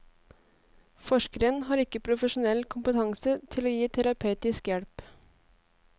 Forskeren har ikke profesjonell kompetanse til å gi terapeutisk hjelp.